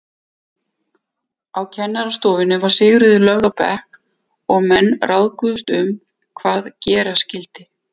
Á kennarastofunni var Sigríður lögð á bekk og menn ráðguðust um hvað gera skyldi.